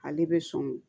Ale bɛ sɔn